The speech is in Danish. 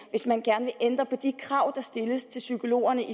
hvis man gerne vil ændre på de krav der stilles til psykologerne